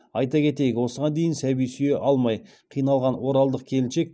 айта кетейік осыған дейін сәби сүйе алмай қиналған оралдық келіншек